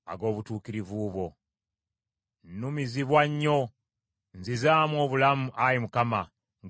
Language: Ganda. Nnumizibwa nnyo; nzizaamu obulamu, Ayi Mukama , ng’ekigambo kyo bwe kiri.